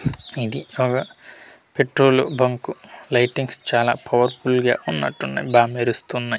ఇది ఒక petrol bunk lightings చాలా పవర్ఫుల్ గా ఉన్నటు ఉన్నాయి బా మెరుస్తున్నాయి .